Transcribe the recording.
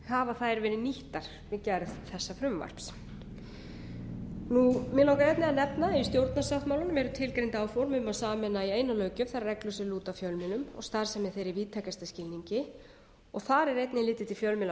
hafa þær verið nýttar við gerð þessa frumvarps mig langar einnig að nefna að í stjórnarsáttmálanum eru tilgreind áform um að sameina í eina löggjöf þær reglur sem lúta að fjölmiðlum og starfsemi þeirra í víðtækasta skilningi og þar er einnig litið til fjölmiðla í